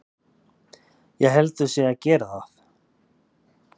Ég held þau séu að gera það.